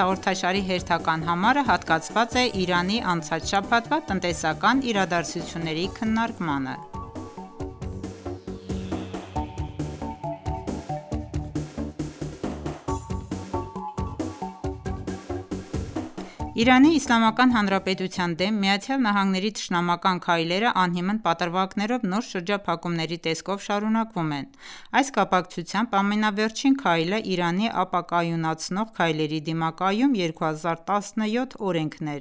հաղորդաշարի հերթական համարը հատկացված է Իրանի անցած շաբաթվա տնտեսական իրադարձությունների քննարկմանը: ԻԻՀ-ի դեմ ԱՄՆ-ի թշնամական քայլերը անհիմն պատրվակներով նոր շրջափակումների տեսքով շարունակվում է: Այս կապակցությամբ ամենավերջին քայլը «Իրանի ապակայունացնող քայլերի դիմակայում-2017» օրենքն է: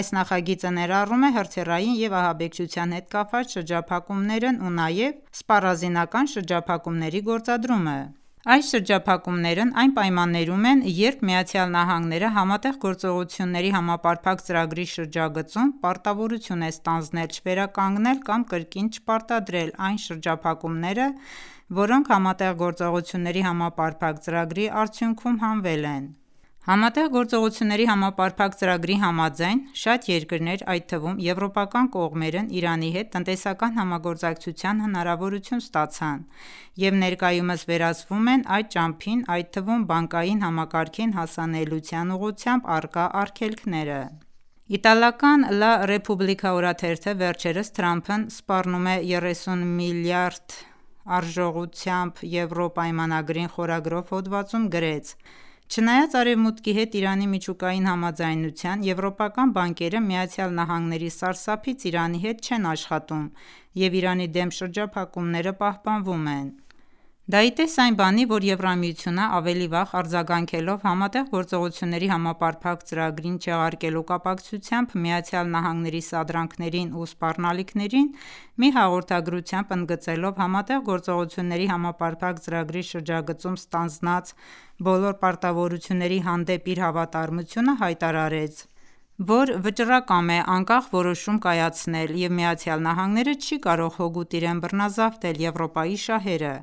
Այս նախագիծը ներառում է հրթիռային և ահաբեկչության հետ կապված շրջափակումներն ու նաև սպառազինական շրջափակումների գործադրումը: Այս շրջափակումներն այն պայմաններում են, երբ ԱՄՆ- ՀԳՀԾ-ի շրջագծում պարտավորություն է ստանձնել չվերականգնել կամ կրկին չպարտադրել այն շրջափակումները, որոնք ՀԳՀԾ-ի արդյունքում հանվել են: ՀԳՀԾ-ի համաձայն շատ երկրներ, այդ թվում եվրոպական կողմերն Իրանի հետ տնտեսական համագործակցության հնարավորություն ստացան և ներկայումս վերացվում են այդ ճամփին, այդ թվում բանկային համակարգին հասանելիության ուղղությամբ առկա արգելքները: Իտալական «Լա Ռեփուբլիքա» օրաթերթը վերջերս «Թրամփն սպառնում է 30 միլիարդ եվրո արժողությամբ պայմանագրին» խորագրով հոդվածում գրեց. «Չնայած արևմուտքի հետ Իրանի միջուկային համաձայնության եվրոպական բանկերն ԱՄՆ-ի սարսափից Իրանի հետ չեն աշխատում և Իրանի դեմ շրջափակումները պահպանվում են»: Դա ի տես այն բանի, որ ԵՄ-ն ավելի վաղ արձագանքելով Համատեղ գործողությունների համապարփակ ծրագիրը չեղարկելու կապակցությամբ ԱՄՆ-ի սադրանքներին ու սպառնալիքներին մի հաղորդագրությամբ ընդգծելով ՀԳՀԾ-ի շրջագծում ստանձնած բոլոր պարտավորությունների հանդեպ իր հավատարմությունը հայտարարեց, որ վճռակամ է անկախ որոշում կայացնել և ԱՄՆ-ն չի կարող հօգուտ իրեն բռնազավթել Եվրոպայի շահերը: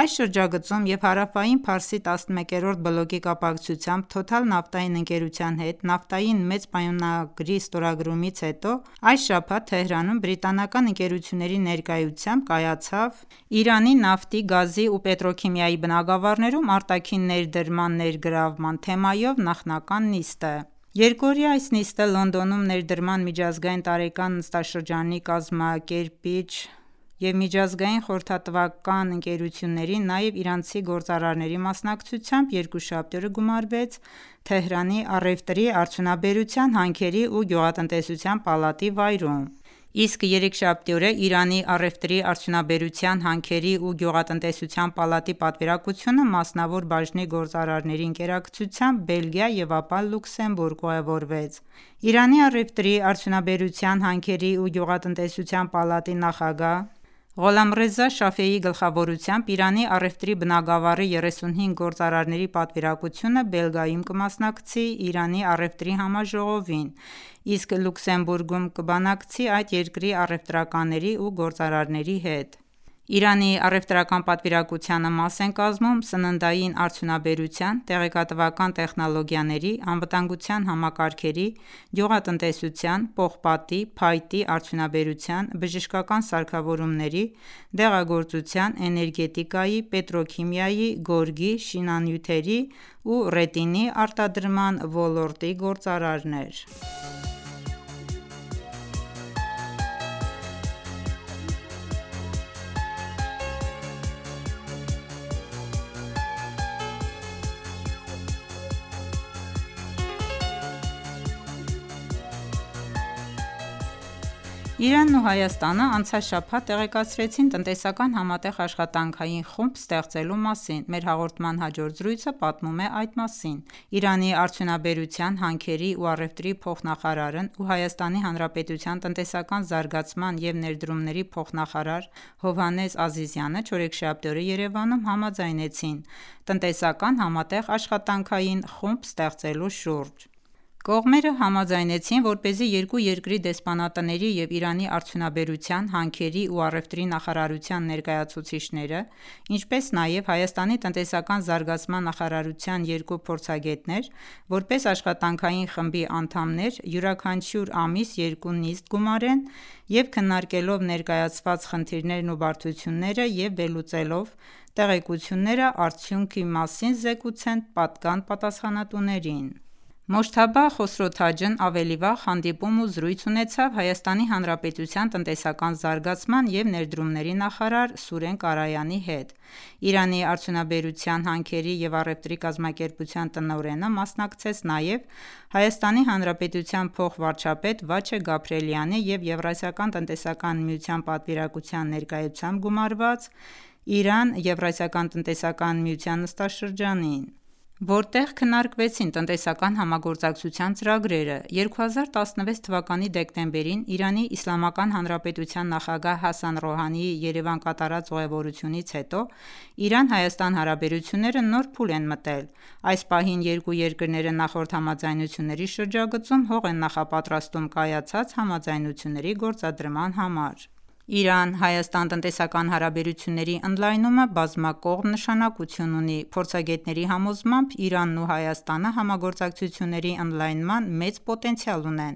Այս շրջագծում և Հարավային Փարսի 11-րդ բլոկի կապակցությամբ «Թոթալ» նավթային ընկերության հետ նավթային մեծ պայմանագրի ստորագրումից հետո այս շաբաթ Թեհրանում բրիտանական ընկերությունների ներկայությամբ կայացավ «Իրանի նավթի, գազի ու պետրոքիմիայի բնագավառներում արտաքին ներդրման ներգրավման» թեմայով նախնական նիստը: Երկօրյա այս նիստը Լոնդոնում ներդրման միջազգային տարեկան նստաշրջանի կազմակերպիչ՝ Exchange Frontier և միջազգային խորհրդատվական International Smith Adam ընկերությունների, նաև իրանցի գործարարների մասնակցությամբ երկուշաբթի օրը գումարվեց Թեհրանի առևտրի, արդյունաբերության, հանքերի ու գյուղատնտեսության պալատի վայրում: Իսկ երեքշաբթի օրը Իրանի առևտրի, արդյունաբերության, հանքերի ու գյուղատնտեսության պալատի պատվիրակությունը մասնավոր բաժնի գործարարների ընկերակցությամբ Բելգիա և ապա Լյուքսեմբուրգ ուղևորվեց: Իրանի առևտրի, արդյունաբերության, հանքերի ու գյուղատնտեսության պալատի նախագահ Ղոլամռեզա Շաֆեիի գլխավորությամբ Իրանի առևտրի բնագավառի 35 գործարարների պատվիրակությունը Բելգիայում կմասնակցի Իրան առևտրի համաժողովին, իսկ Լյուքսեմբուրգում կբանակցի այդ երկրի առևտրականների ու գործարարների հետ: Իրանի առևտրական պատվիրակությանը մաս են կազմում սննդային արդյունաբերության, տեղեկատվական տեխնոլոգիաների, անվտանգության համակարգերի, գյուղատնտեսության, պողպատի, փայտի արդյունաբերության, բժշկական սարքավորումների, դեղագործության, էներգետիկայի, պետրոքիմիայի, գորգի, շինանյութերի ու ռետինի արտադրման ոլորտի գործարարներ: Իրանն ու Հայաստանն անցած շաբաթ տեղեկացրեցին տնտեսական համատեղ աշխատանքային խումբ ստեղծելու մասին: Մեր հաղորդման հաջորդ զրույցը պատմում է այդ մասին: Իրանի արդյունաբերության, հանքերի ու առևտրի փոխնախարարն ու ՀՀ տնտեսական զարգացման և ներդրումների փոխնախարար Հովհաննես Ազիզյանը չորեքշաբթի օրը Երևանում համաձայնեցին տնտեսական համատեղ աշխատանքային խումբ ստեղծելու շուրջ: Կողմերը համաձայնեցին, որպեսզի երկու երկրի դեսպանատների և Իրանի արդյունաբերության, հանքերի ու առևտրի նախարարության ներկայացուցիչները, ինչպես նաև Հայաստանի տնտեսական զարգացման նախարարության երկու փորձագետներ որպես աշխատանքային խմբի անդամներ, յուրաքանչյուր ամիս երկու նիստ գումարեն և քննարկելով ներկայացված խնդիրներն ու բարդությունները և վերլուծելով տեղեկությունները, արդյունքի մասին զեկուցեն պատկան պատասխանատուներին: Մոջթաբա Խոսրոթաջն ավելի վաղ հանդիպում ու զրույց ունեցավ ՀՀ տնտեսական զարգացման և ներդրումների նախարար Սուրեն Կարայանի հետ: Իրանի արդյունաբերության, հանքերի ու առևտրի կազմակերպության տնօրենը մասնակցեց նաև ՀՀ փոխվարչապետ Վաչե Գաբրիելյանի և ԵԱՏՄ-ի պատվիրակության ներկայությամբ գումարված Իրան-ԵԱՏՄ նստաշրջանին, որտեղ քննարկվեցին տնտեսական համագործակցության ծրագրերը: 2016 թվականի դեկտեմբերին ԻԻՀ նախագահ Հասան Ռոհանիի Երևան կատարած ուղևորությունից հետո Իրան-Հայաստան հարաբերությունները նոր փուլ են մտել: Այս պահին երկու երկրները նախորդ համաձայնությունների շրջագծում հող են նախապատրաստում կայացած համաձայնությունների գործադրման համար: Իրան-Հայաստան տնտեսական հարաբերությունների ընդլայնումը բազմակողմ նշանակություն ունի: Փորձագետների համոզմամբ Իրանն ու Հայաստանը համագործակցությունների ընդլայնման մեծ պոտենցիալ ունեն: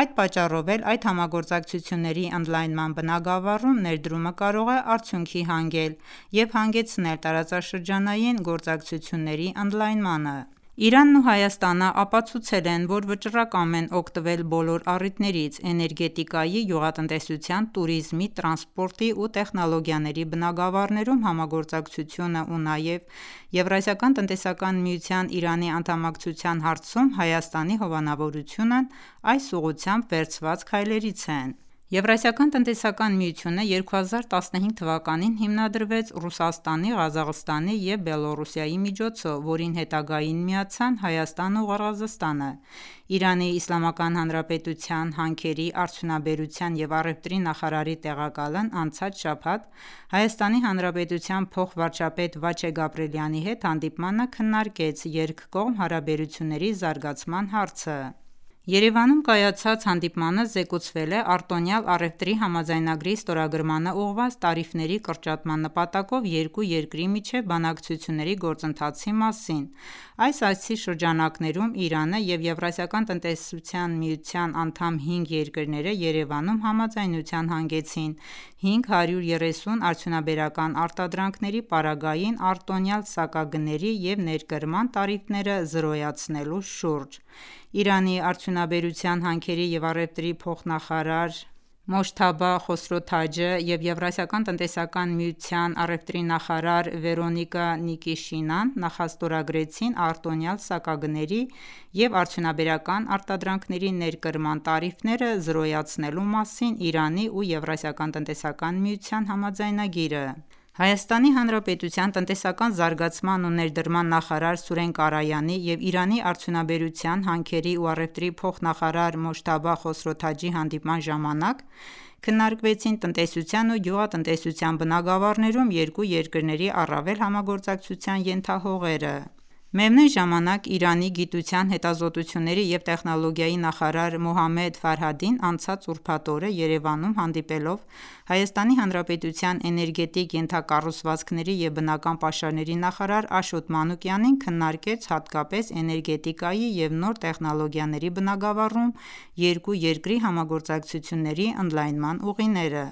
Այդ պատճառով էլ այդ համագործակցությունների ընդլայնման բնագավառում ներդրումը կարող է արդյունքի հանգել և հանգեցնել տարածաշրջանային գործակցությունների ընդլայնման: Իրանն ու Հայաստանն ապացուցել են, որ վճռակամ են օգտվել բոլոր առիթներից: էներգետիկայի, գյուղատնտեսության, տուրիզմի, տրանսպորտի ու տեխնոլոգիաների բանգավառներում համագործակցությունն ու նաև ԵԱՏՄ-ին Իրանի անդամակցության հարցում Հայաստանի հովանավորությունն այս ուղղությամբ վերցված քայլերից են: ԵԱՏՄ-ն 2015 թվականին հիմնադրվեցին Ռուսաստանը, Ղազախստանն ու Բելառուսը, որին հետագային միացան Հայաստանն ու Ղրղզստանը: Իրանի Իսլամական Հանրապետության հանքերի, արդյունաբերության և առևտրի նախարարի տեղակալն անցած շաբաթ ՀՀ փոխվարչապետ Վաչե Գաբրիելյանի հետ հանդիպմանը քննարկեց երկկողմ հարաբերությունների զարգացման հարցը:Երևանում կայացած հանդիպմանը զեկուցվել է արտոնյալ առևտրի համաձայնագրի ստորագրմանն ուղղված տարիֆների կրճատման նպատակով երկու երկրի միջև բանակցությունների գործընթացի մասին: Այս այցի շրջանակներում Իրանը և ԵԱՏՄ անդամ հինգ երկրները Երևանում համաձայնության հանգեցին 530 արդյունաբերական արտադրանքների պարագային արտոնյալ սակագների և ներկրման տարիֆները զրոյացնելու շուրջ: Իրանի արդյունաբերության, հանքերի ու առևտրի փոխնախարար Մոջթաբա Խոսրոթաջը և ԵԱՏՄ-ի առևտրի նախարար Վեռոնիկա Նիկիշինան նախաստորագրեցին արտոնյալ սակագների և արդյունաբերական արտադրանքների ներկրման տարիֆները զրոյացնելու մասին Իրանի ու ԵԱՏՄ-ի համաձայնագիրը: ՀՀ տնտեսական զարգացման ու ներդրման նախարար Սուրեն Կարայանի և Իրանի արդյունաբերության, հանքերի ու առևտրի փոխնախարար Մոջթաբա Խոսրոթաջի հանդիպման ժամանակ քննարկվեցին տնտեսության ու գյուղատնտեսության բնագավառներում երկու երկրների առավել համագործակցության ենթահողերը: Միևնույն ժամանակ Իրանի գիտության, հետազոտությունների և տեխնոլոգիայի նախարար Մոհամմեդ Ֆարհադին անցած ուրբաթ օրը Երևանում հանդիպելով ՀՀ էներգետիկ ենթակառուցվածքների և բնական պաշարների նախարար Աշոտ Մանուկյանին քննարկեց հատկապես էներգետիկայի և նոր տեխնոլոգիաների բնագավառում երկու երկրի համագործակցությունների ընդլայնման ուղիները: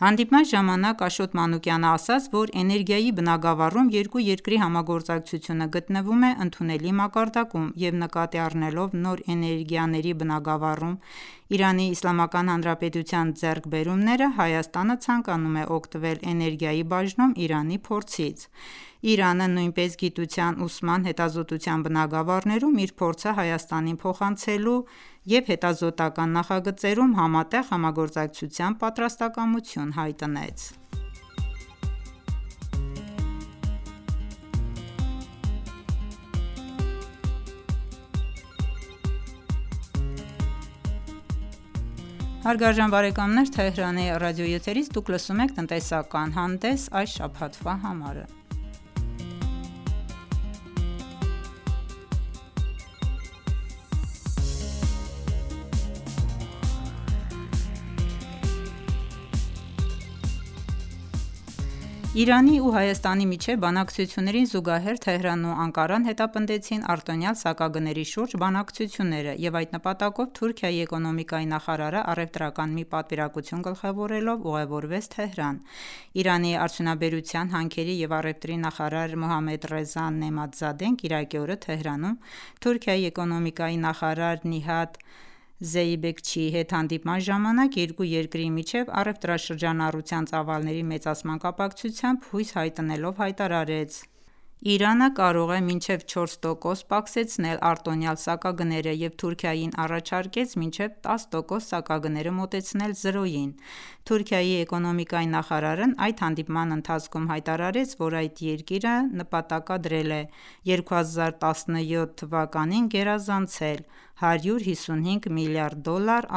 Հանդիպման ժամանակ Աշոտ Մանուկյանն ասաց, որ Էներգիայի բնագավառում երկու երկրի համագործակցությունը գտնվում է ընդունելի մակարդակում և նկատի առնելով նոր էներգիաների բնագավառում ԻԻՀ ձեռքբերումները, Հայաստանը ցանկանում է օգտվել էներգիայի բաժնում Իրանի փորձից: Իրանը նույնպես գիտության, ուսման, հետազոտության բնագավառներում իր փորձը Հայաստանին փոխանցելու և հետազոտական նախագծերում համատեղ համագործակցության պատրաստակամություն հայտնեց: Իրանի ու Հայաստանի միջև բանակցություններին զուգահեռ Թեհրանն ու Անկարան հետապնդեցին արտոնյալ սակագների շուրջ բանակցությունները և այդ նպատակով Թուրքիայի էկոնոմիկայի նախարարն առևտրական մի պատվիրակություն գլխավորելով Թեհրան ուղևորվեց: Իրանի արդյունաբերության, հանքերի և առևտրի նախարար Մոհամմեդռեզա Նեըմաթ Զադեն կիրակի օրը Թեհրանում Թուրքիայի էկոնոմիկայի նախարար Նիհաթ Զեյբեքչիի հետ հանդիպման ժամանակ երկու երկրի միջև առևտրաշրջանառության ծավալների մեծացման կապակցությամբ հույս հայտնելով հայտարարեց, որ Իրանը կարող է մինչև 4 տոկոս պակսեցնել արտոնյալ սակագները և Թուրքիային առաջարկեց մինչև 10 տոկոս սակագները մոտեցնել զրոյին: Թուրքիայի էկոնոմիկայի նախարարն այդ հանդիպման ընթացքում հայտարարեց, որ այդ երկիրը նպատակադրել է 2017 թվականին գերազանցել 155 միլիարդ դոլար